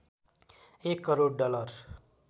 १ crore dollar